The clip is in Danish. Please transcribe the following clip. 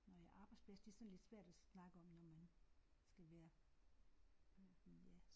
Nåh ja arbejdsplads det er sådan lidt svært at snakke om når man skal være ja